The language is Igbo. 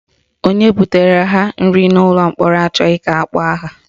Onye butere ha nri n'ụlọ mkpọrọ achọghị ka akpọọ aha